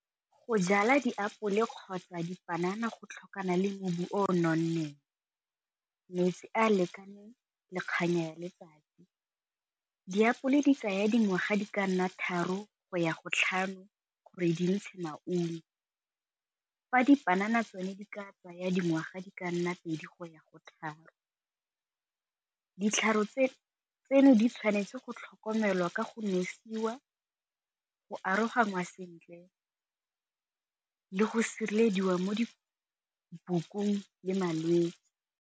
Go jala diapole kgotsa dipanana go tlhokana le mmu o nonneng, metsi a lekaneng le kanya ya letsatsi. Diapole di tsaya dingwaga di ka nna tharo go ya go tlhano gore di ntshe maungo, fa dipanana tsone di ka tsaya dingwaga di ka nna pedi go ya go tharo, ditlhare tseno di tshwanetse go tlhokomelwa ka go nosiwa go aroganngwa sentle le go sirelediwa mo dibokong le malwetse.